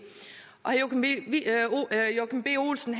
herre joachim b olsen